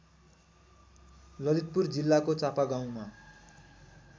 ललितपुर जिल्लाको चापागाउँमा